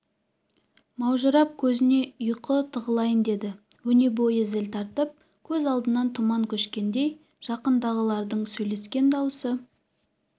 маужырап көзіне ұйқы тығылайын деді өне бойы зіл тартып көз алдынан тұман көшкендей жақындағылардың сөйлескен дауысы